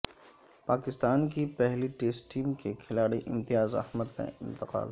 پاکستان کی پہلی test team کے کھلاڑی امتیاز احمد کا انتقال